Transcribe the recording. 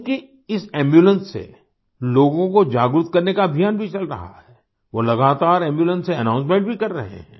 उनकी इस एम्बुलेंस से लोगों को जागरूक करने का अभियान भी चल रहा है वो लगातार एम्बुलेंस से अनाउंसमेंट भी कर रहे हैं